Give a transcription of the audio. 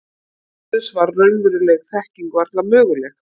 Án Guðs var raunveruleg þekking varla möguleg.